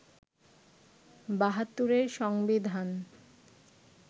৭২’র সংবিধান